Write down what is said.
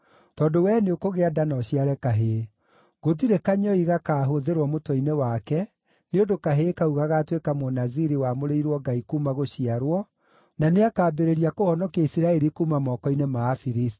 tondũ wee nĩũkũgĩa nda na ũciare kahĩĩ. Gũtirĩ kanyũi gakaahũthĩrwo mũtwe-inĩ wake, nĩ ũndũ kahĩĩ kau gagaatuĩka Mũnaziri wamũrĩirwo Ngai kuuma gũciarwo, na nĩakambĩrĩria kũhonokia Isiraeli kuuma moko-inĩ ma Afilisti.”